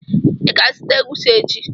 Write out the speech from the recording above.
I ga-azụta egwusi echi.